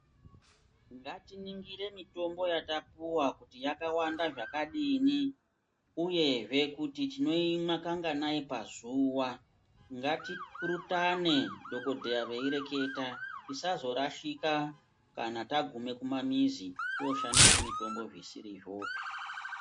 Ngatiningire mitombo yatapuva kuti yakawanda zvakadini uyezve kuti tinomwa kanganai pazuva. Ngatipurutane dhogodheya veireketa tisazorashika kana tagume kumamizi toshandise mitombo zvisirizvopi.